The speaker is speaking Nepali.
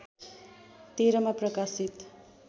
१३ मा प्रकाशित